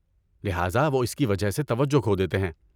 لہٰذا وہ اس کی وجہ سے توجہ کھو دیتے ہیں۔